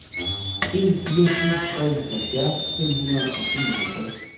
en fire syv tre halvfjerds fem hundrede og enoghalvtreds